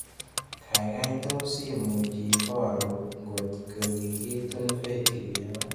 Gaigai tos' imuch iporu ngotko kikitun Faith Kipyegon